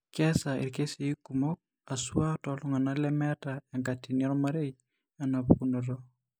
Keasa irkesii kumok eisuaa tooltung'anak lemeeta enkatini ormarei enapukunoto.